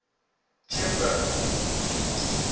jimbro